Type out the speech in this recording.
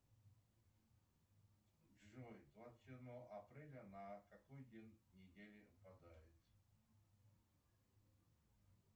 джой двадцать седьмое апреля на какой день недели выпадает